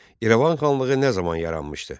İrəvan xanlığı nə zaman yaranmışdı?